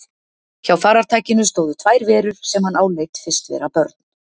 Hjá farartækinu stóðu tvær verur sem hann áleit fyrst vera börn.